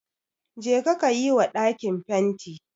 Jeka ka yi wa ɗakin fenti